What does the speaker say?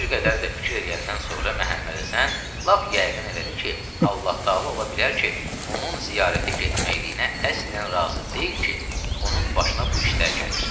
Bir qədər də fikir eləyəndən sonra Məhəmməd Həsən lap yəqin elədi ki, Allah təala ola bilər ki, onun ziyarətə getməkləyinə əslən razı deyil ki, onun başına bu işlər gəlir.